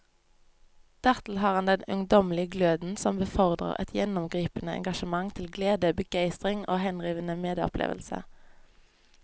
Dertil har han den ungdommelige gløden som befordrer et gjennomgripende engasjement til glede, begeistring og henrivende medopplevelse.